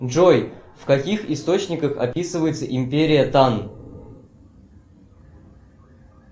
джой в каких источниках описывается империя тан